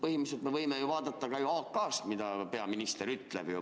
Põhimõtteliselt me võime ju vaadata ka AK-st, mida peaminister ütleb.